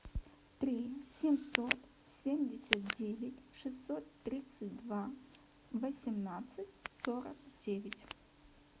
три семьсот семьдесят девять шестьсот тридцать два восемнадцать сорок девять